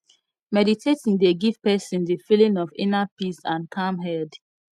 meditating dey give person di feeling of inner peace and calm head